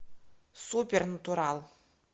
супернатурал